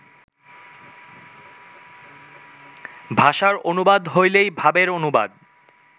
ভাষার অনুবাদ হইলেই ভাবের অনুবাদ